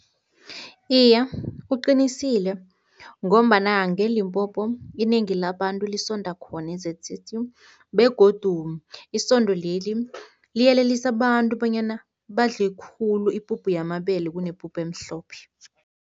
Iye, uqinisile ngombana ngeLimpopo inengi labantu lisonda khona e-Z_C_C begodu isondo leli liyelelisa abantu bonyana badle khulu ipuphu yamabele kunepuphu emhlophe.